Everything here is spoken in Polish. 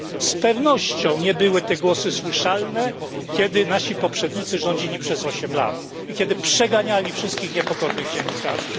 Z pewnością nie były te głosy słyszalne, kiedy nasi poprzednicy rządzili przez osiem lat i kiedy przeganiali wszystkich niepokornych dziennikarzy.